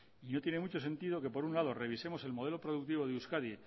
y no tiene mucho sentido que por un lado revisemos el modelo productivo de euskadi